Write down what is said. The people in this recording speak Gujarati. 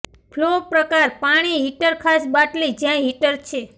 ફ્લો પ્રકાર પાણી હીટર ખાસ બાટલી જ્યાં હીટર છે